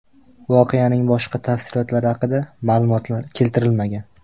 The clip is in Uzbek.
Voqeaning boshqa tafsilotlari haqida ma’lumotlar keltirilmagan.